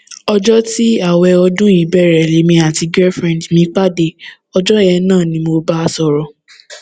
ọjọ tí ààwẹ ọdún yìí bẹrẹ lèmi àti gẹífúrẹǹdì mi pàdé ọjọ yẹn náà ni mo bá a sọrọ